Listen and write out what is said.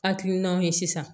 Hakilinaw ye sisan